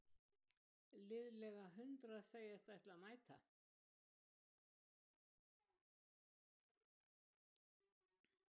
Liðlega hundrað segjast ætla að mæta